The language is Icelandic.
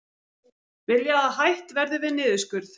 Vilja að hætt verði við niðurskurð